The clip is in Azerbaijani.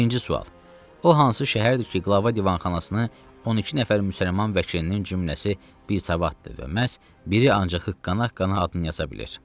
Birinci sual: O hansı şəhərdir ki, qlava divanxanasını 12 nəfər müsəlman vəkilinin cümləsi bir savatdır və məhz biri ancaq hiqqəqqa adını yaza bilir.